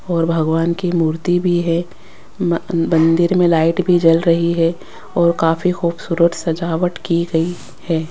और भगवान की मूर्ति भी है मंदिर में लाइट भी जल रही है और काफी खूबसूरत सजावट की गई है।